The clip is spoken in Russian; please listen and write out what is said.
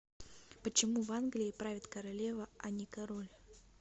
почему в англии правит королева а не король